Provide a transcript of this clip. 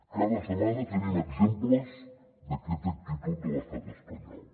cada setmana tenim exemples d’aquesta actitud de l’estat espanyol